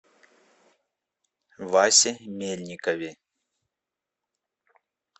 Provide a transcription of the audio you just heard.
васе мельникове